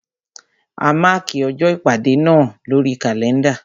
A mákì ọjọ́ ìpàdé náà lórí kàlẹ́ndà.